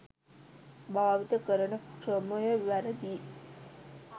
භාවිත කරන ක්‍රමය වැරදි